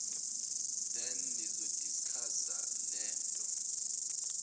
then nizodiskhasa lonto